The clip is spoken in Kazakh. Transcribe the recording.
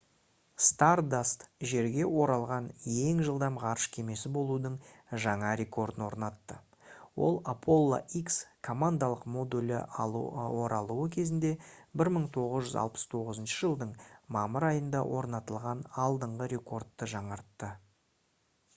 stardust жерге оралған ең жылдам ғарыш кемесі болудың жаңа рекордын орнатты ол apollo x командалық модулі оралуы кезінде 1969 жылдың мамыр айында орнатылған алдыңғы рекордты жаңартты